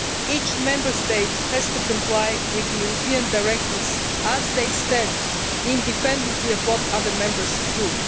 Each Member State has to comply with the European directives as they stand, independently of what other Member States do.